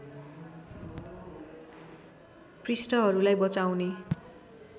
पृष्ठहरूलाई बचाउने